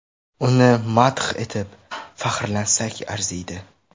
Uni madh etib, faxrlansak arziydi.